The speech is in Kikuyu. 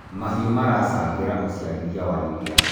mahiũ maracangira uciarithia wa iria